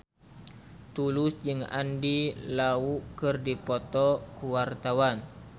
Tulus jeung Andy Lau keur dipoto ku wartawan